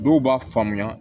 Dɔw b'a faamuya